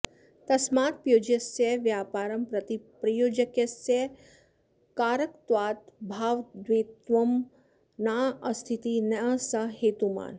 तस्मात् प्योज्यस्य व्यापारं प्रति प्रयोजकस्य कारकत्वाभावाद्धेतुत्वं नास्तीति न स हेतुमान्